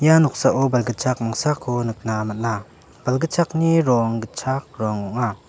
ia noksao balgitchak mangsako nikna man·a balgitchakni rong gitchak rong ong·a.